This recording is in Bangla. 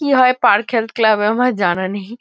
কি হয় পার্ক হেলথ ক্লাব এ আমার জানা নেই।